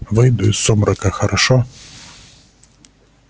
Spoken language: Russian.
выйду из сумрака хорошо